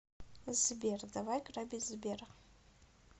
сбер давай грабить сбер